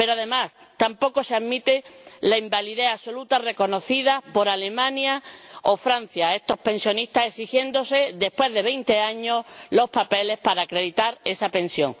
Pero, además, tampoco se admite la invalidez absoluta reconocida por Alemania o Francia a estos pensionistas, exigiéndose, después de veinte años, los papeles para acreditar esa pensión.